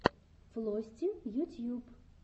флости ютьюб